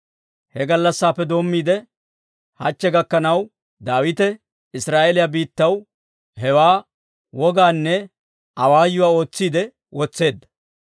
He gallassappe doommiide, hachche gakkanaw, Daawite Israa'eeliyaa biittaw hewaa wogaanne awaayuwaa ootsiide wotseedda.